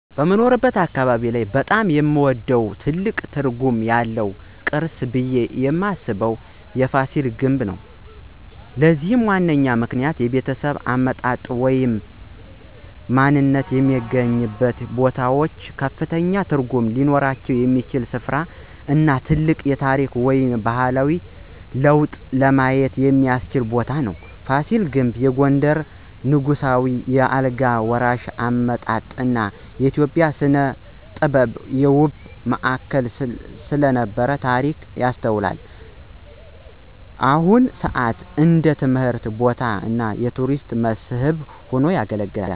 በምኖርበት አካባቢ ላይ በጣም የምወደው እና ትልቅ ትርጉም ያለው ቅርስ ብየ ማስበው የፋሲል ግንብ ነው። ለዚህም ዋነኛ ምክንያቶች -የቤተሰብ አመጣጥ ወይም ማንነትዎ የሚገናኙበት ቦታዎች ከፍተኛ ትርጉም ሊኖራቸው የሚችል ሥፍራ እና ታላቅ የታሪክ ወይም ባህላዊ ለውጥን ለማየት የሚቻልበት ቦታ ነው። ፋሲል ግንብ የጎንደርን ንጉሳዊ የአልጋ ወራሽ አመጣጥ እና የኢትዮጵያ ሥነ-ጥበብ የውበት ማዕከል ስለነበረ ታሪክ ያስታውሳል። በአሁን ሰአት እንደ ትምህርት ቦታ እና የቱሪስት መስህብ ሆኖ ያገለግላል።